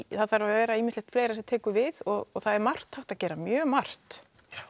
það þarf að vera ýmislegt fleira sem tekur við og það er margt hægt að gera mjög margt